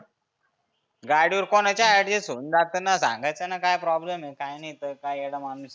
गाडी वर कुणाच्या adjust होऊन जातंना. सांगायचंंना काय प्रॉब्लेम काय नाही तर काय येडा माणुस आहे.